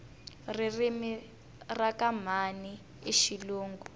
ririmi rakamhani ishilungu